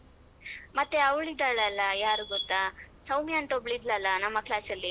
ಮತ್ತೆ ಅವಳು ಇದ್ದಾಳಲ್ಲ ಯಾರು ಗೊತ್ತಾ ಸೌಮ್ಯ ಅಂತೊಬ್ಳ್ ಇದ್ಲಲ್ಲ ನಮ್ಮ ಕ್ಲಾಸಲ್ಲಿ.